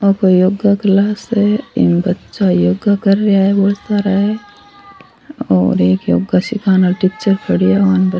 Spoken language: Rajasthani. आ कोई योगा क्लास है इम बच्चा योगा कर रेहा है और एक योगा सीखाने वाल टीचर --